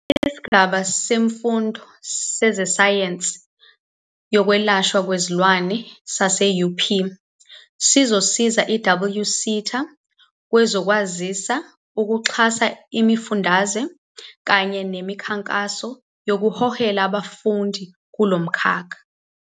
Isigaba Semfundo Sezesayensi Yokwelashwa Kwezilwane sase-UP sizosiza i-HWSETA kwezokwazisa, ukuxhasa imifundaze kanye nemikhankaso yokuhehela abafundi kulo mkhakha.